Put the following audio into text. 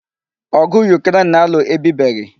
Ọgụ Yukren na-alụ ebibeghi.